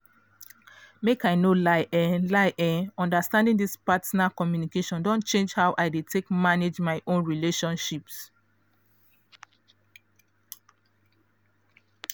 make i no lie eh lie eh understanding this partner communication don change how i dey take manage my own relationships.